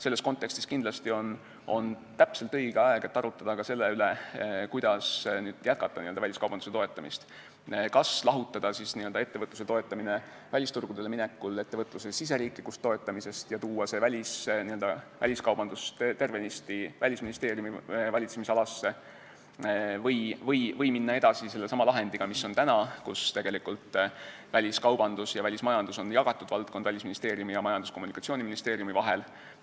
Selles kontekstis on täpselt õige aeg arutada ka selle üle, kuidas jätkata väliskaubanduse toetamist, kas lahutada ettevõtluse toetamine välisturgudele minekul ettevõtluse riigisisesest toetamisest ja tuua väliskaubandus tervenisti Välisministeeriumi valitsemisalasse või minna edasi selle lahendiga, mis on praegu, kui väliskaubandus ja välismajandus on Välisministeeriumi ning Majandus- ja Kommunikatsiooniministeeriumi vahel jagatud valdkond.